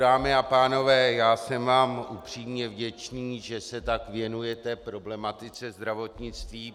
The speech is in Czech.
Dámy a pánové, já jsem vám upřímně vděčný, že se tak věnujete problematice zdravotnictví.